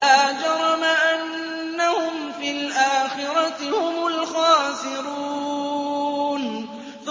لَا جَرَمَ أَنَّهُمْ فِي الْآخِرَةِ هُمُ الْخَاسِرُونَ